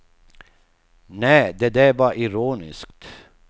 Nä, det där var ironiskt.